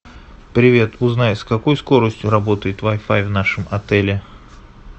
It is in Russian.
привет узнай с какой скоростью работает вай фай в нашем отеле